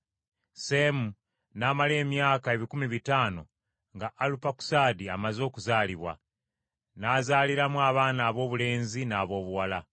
Seemu n’amala emyaka ebikumi bitaano nga Alupakusaadi amaze okusaalibwa. N’azaaliramu abaana aboobulenzi n’aboobuwala.